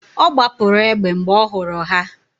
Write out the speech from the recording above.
Ọ gbapụrụ egbe mgbe ọ hụrụ ha